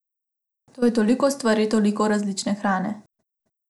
To je toliko stvari, toliko različne hrane!